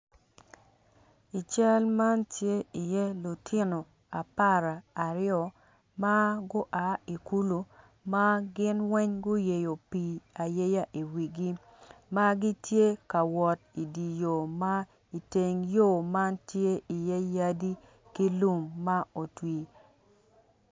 I cal man tye iye lutino apararyo ma gua i kulu ma gin weng guyeyo pii ayeya iwigi ma gitye ka wot idi yo ma iteng yo man tye iye yadi ki lum ma otwi.